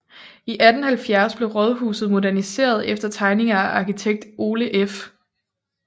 I 1870 blev rådhuset moderniseret efter tegninger af arkitekt Ole F